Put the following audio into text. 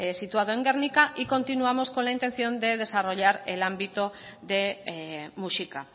situado en gernika y continuamos con la intención de desarrollar el ámbito de muxika